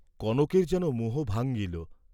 কনকের যেন মোহ ভাঙ্গিল।